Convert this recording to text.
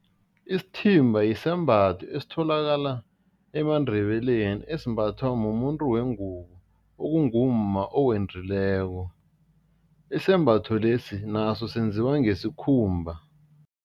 Isithimba yisembatho esitholakala emaNdebeleni, esimbathwa mumuntu wengubo, okungumma owendileko, isembatho lesi naso senziwa ngesikhumba.